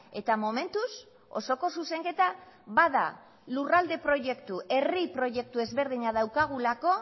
eta momentuz osoko zuzenketa bada lurralde proiektu herri proiektu ezberdina daukagulako